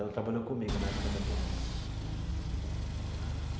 Ela trabalhou comigo na época da Burroughs tá.